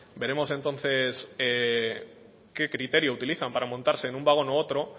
veremos entonces qué criterio utilizan para montarse en un vagón u otro